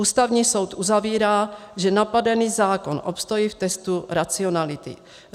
Ústavní soud uzavírá, že napadený zákon obstojí v testu racionality.